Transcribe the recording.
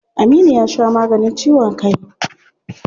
Aminu ya sha maganin ciwon kai.